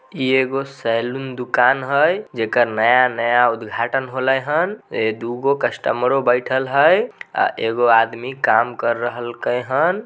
ई एगो सैलून दुकान है जेकर नया-नया उद्दघाटन होले हैन दू गो कस्टमरों बैठल हई अ एगो आदमी काम कर रहल के हैन।